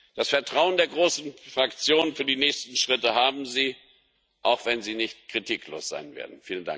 Das Vertrauen der großen Fraktionen für die nächsten Schritte haben Sie, auch wenn sie nicht kritiklos sein werden.